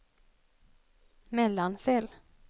Mellansel